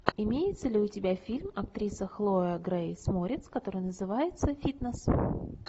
имеется ли у тебя фильм актриса хлоя грейс морец который называется фитнес